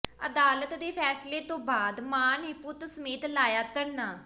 ਅਦਾਲਤ ਦੇ ਫ਼ੈਸਲੇ ਤੋਂ ਬਾਅਦ ਮਾਂ ਨੇ ਪੁੱਤ ਸਮੇਤ ਲਾਇਆ ਧਰਨਾ